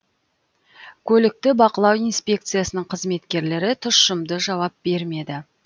көлікті бақылау инспекциясының қызметкерлері тұщымды жауап бермеді